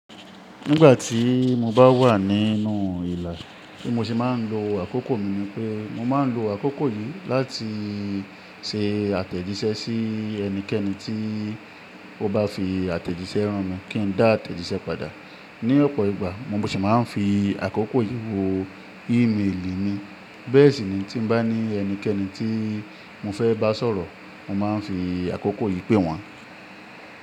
Nígbà tí mo bá wà nínú ìlà, bi mo ṣe máa ń lo àkókò mi ni pé, mo máa ń lo àkókò yìí láti ṣe àtẹ̀jíṣẹ́ sí ẹnikẹ́ni tí ó bá fi àtẹ̀jíṣẹ́ rán mi kí n dá àtẹ̀jíṣẹ́ padà. Ní ọ̀pọ̀ ìgbà mo sì máa ń fi àkókò yìí wo ímeèlì mi. Bẹ́ẹ̀ sì ni tí n bá ní ẹnikẹ́ni tí mo fẹ́ bá sọ̀rọ̀, mo máa ń fi àkókò yìí pé wọn.